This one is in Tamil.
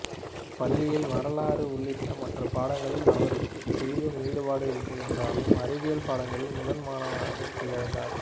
பள்ளியில் வரலாறு உள்ளிட்ட மற்ற பாடங்களில் அவருக்கு சிறிதும் ஈடுபாடு இல்லை என்றாலும் அறிவியல் பாடங்களில் முதல் மாணவனாக திகழ்ந்தார்